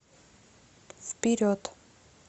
вперед